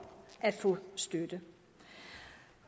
at få støtte